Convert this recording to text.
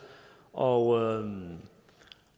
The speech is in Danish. og